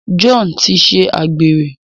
John tí ṣe àgbèrè.